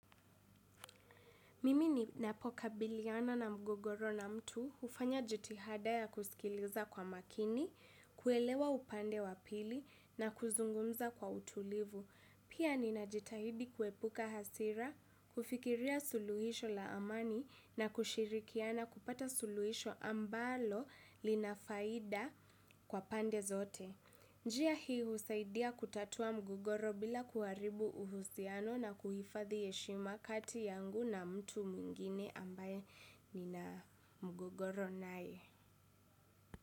Mimi ninapokabiliana na mgogoro na mtu hufanya jitihada ya kusikiliza kwa makini, kuelewa upande wa pili na kuzungumza kwa utulivu. Pia ninajitahidi kuepuka hasira, kufikiria suluhisho la amani na kushirikiana kupata suluhisho ambalo lina faida kwa pande zote. Njia hii husaidia kutatua mgogoro bila kuharibu uhusiano na kuhifadhi heshima kati yangu na mtu mwingine ambaye nina mgogoro naye.